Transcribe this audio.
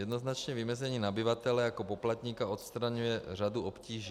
Jednoznačné vymezení nabyvatele jako poplatníka odstraňuje řadu obtíží.